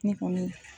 Ne kɔni